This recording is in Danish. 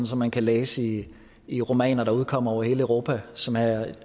som man kan læse i i romaner der udkommer over hele europa som er